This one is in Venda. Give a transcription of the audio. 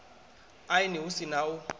aini hu si na u